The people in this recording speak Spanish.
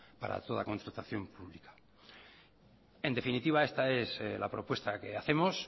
para toda constatación en definitiva esta es la propuesta que hacemos